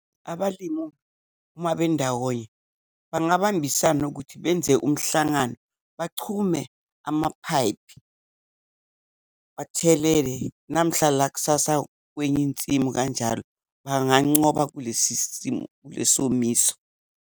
Abalimu uma bendawonye bangabambisana ukuthi benze umhlangano, bachumane amaphayiphi, bathelele namahla lakusasa kwenye insimu kanjalo, bangancoba kulesi simo, kule somiso.